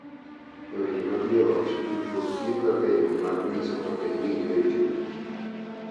E weche mag joot, tudruok tiyo kaka yo mar nyiso kaka iwinjo e chunye,